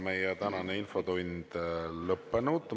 Meie tänane infotund on lõppenud.